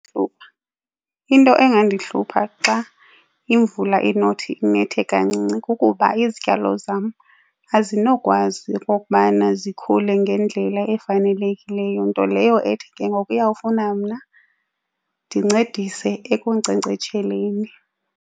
Into engandihlupha xa imvula inothi inethe kancinci kukuba izityalo zam azinokwazi okokubana zikhule ngendlela efanelekileyo, nto leyo ethi ke ngoku iyawufuna mna ndincedise ekunkcenkcetsheleni.